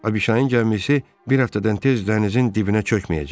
Abişanın gəmisi bir həftədən tez dənizin dibinə çökməyəcək.